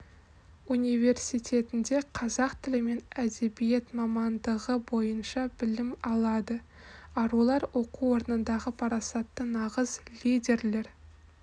университетінде қазақ тілі мен әдебиеті мамандығы бойынша білім алады арулар оқу орнындағы парасатты нағыз лидерлер